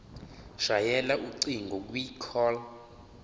shayela ucingo kwicall